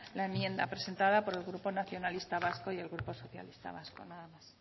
la enmienda presentada por el grupo nacionalista vasco y el grupo socialista vasco nada más